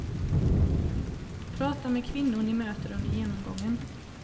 Prata med kvinnor ni möter under genomgången.